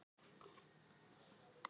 spurði frænka mín þá.